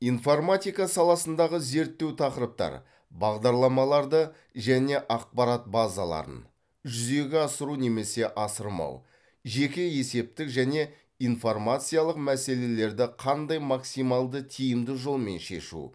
информатика саласындағы зерттеу тақырыптар бағдарламаларды және ақпарат базаларын жүзеге асыру немесе асырмау жеке есептік және информациялық мәселелерді қандай максималды тиімді жолмен шешу